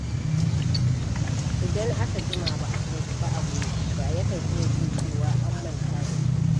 Idan aka jima ba a tuntuɓi aboki ba, yakan iya jin cewa an manta da shi.